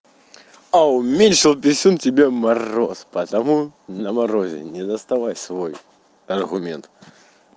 а уменьшил писюн тебе мороз по тому на морозе не доставай свой аргумент